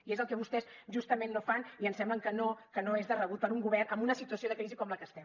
i és el que vostès justament no fan i ens sembla que no és de rebut per a un govern en una situació de crisi com la que estem